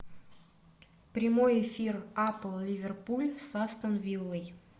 прямой эфир апл ливерпуль с астон виллой